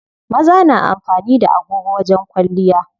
Maza na amfani da agogo wajen kwalliya.